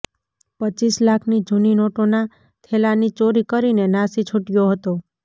રપ લાખની જુની નોટોના થેલાની ચોરી કરીને નાશી છુટયો હતો